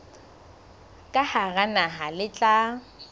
ka hara naha le tla